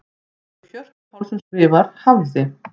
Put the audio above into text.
Eins og Hjörtur Pálsson skrifar: Hafði.